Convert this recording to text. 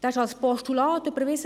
Er wurde als Postulat überwiesen.